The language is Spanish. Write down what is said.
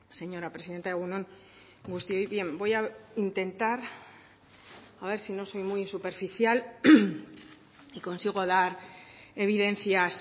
señora presidenta egun on guztioi bien voy a intentar a ver si no soy muy superficial y consigo dar evidencias